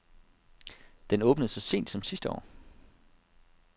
Den åbnede så sent som sidste år.